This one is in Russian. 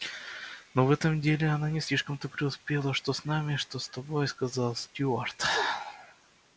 ну в этом деле она не слишком-то преуспела что с нами что с тобой сказал стюарт